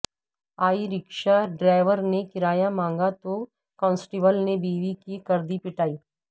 ای rickshaw driver نے کرایہ مانگا تو کانسٹیبل نے بیوی کی کردی پٹائی